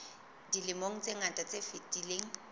dilemong tse ngata tse fetileng